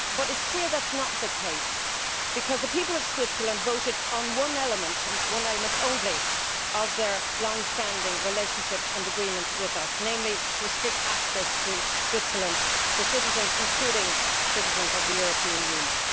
But it is clear that it is not the case, because the people of Switzerland voted on one element and one element only of their long standing relationship and agreement with us namely to restrict access to Switzerland for citizens, including citizens of the European Union.